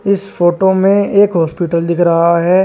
इस फोटो में एक हॉस्पिटल दिख रहा है।